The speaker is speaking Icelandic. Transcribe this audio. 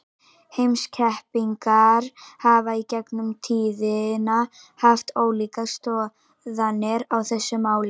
Heimspekingar hafa í gegnum tíðina haft ólíkar skoðanir á þessu máli.